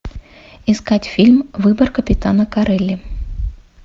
искать фильм выбор капитана корелли